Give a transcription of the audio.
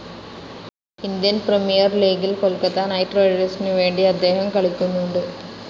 Indian premier ലീഗിൽ Kolkata knight റൈടേഴ്‌സിന് വേണ്ടി അദ്ദേഹം കളിക്കുന്നുണ്ട്.